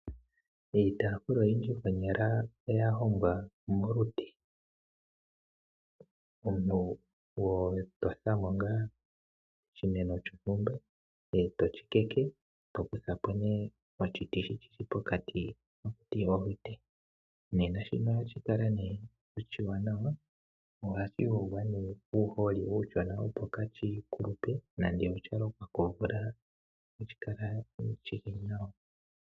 Iitafula oyindji konyala oya hongwa molute, omuntu oho kutha oshiti shontumba eto shi tete, eto hongomo iitafula.